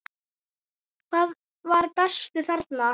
Hver var bestur þarna?